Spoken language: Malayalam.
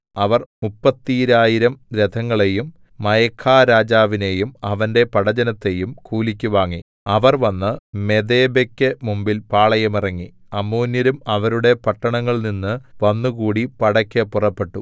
അവർ മുപ്പത്തീരായിരം രഥങ്ങളെയും മയഖാരാജാവിനെയും അവന്റെ പടജ്ജനത്തെയും കൂലിക്ക് വാങ്ങി അവർ വന്നു മെദേബെക്കു മുമ്പിൽ പാളയമിറങ്ങി അമ്മോന്യരും അവരുടെ പട്ടണങ്ങളിൽനിന്നു വന്നുകൂടി പടയ്ക്കു പുറപ്പെട്ടു